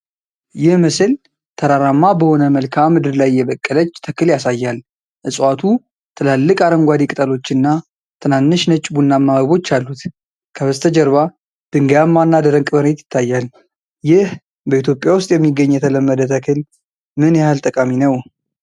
ይህ ምስል ተራራማ በሆነ መልክዓ ምድር ላይ የበቀለች ተክል ያሳያል። እፅዋቱ ትላልቅ አረንጓዴ ቅጠሎችና ትናንሽ ነጭ-ቡናማ አበቦች አሉት። ከበስተጀርባ ድንጋያማና ደረቅ መሬት ይታያል። ይህ በኢትዮጵያ ውስጥ የሚገኝ የተለመደ ተክል ምን ያህል ጠቃሚ ነው?